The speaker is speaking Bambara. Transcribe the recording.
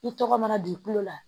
I tɔgɔ mana dugukolo la